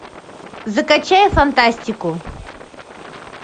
закачай фантастику